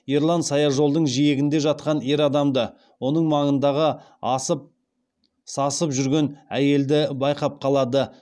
ерлан саяжолдың жиегінде жатқан ер адамды оның маңында асып сасып жүрген әйелді байқап қалады